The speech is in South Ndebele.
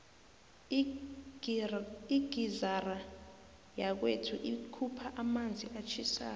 igizara yakwethu ikhupha amanzi atjhisako